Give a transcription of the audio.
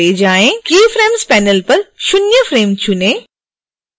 keyframes panel पर शून्य frame चुनें